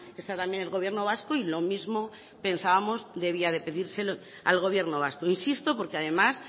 está también el gobierno vasco y lo mismo pensábamos debía de pedírselo al gobierno vasco insisto porque además